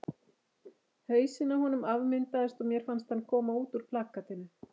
Hausinn á honum afmyndaðist og mér fannst hann koma út úr plakatinu.